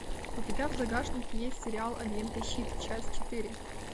у тебя в загашнике есть сериал агенты щит часть четыре